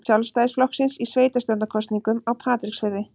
Sjálfstæðisflokksins í sveitarstjórnarkosningum á Patreksfirði.